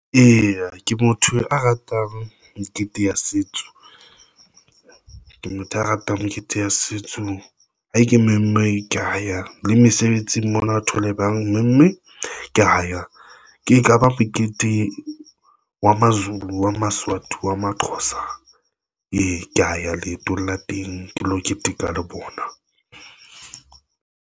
Eya, ke motho a ratang mekete ya setso, ke motho a ratang mekete ya setso. Ha ke mengwe ka ya le mesebetsing, mmona a thole bang memme ke ho ya ke ekaba mokete wa Mazulu a Maswati wa Maxhosa ee, kea ya leeto la teng ke lo keteka le bona.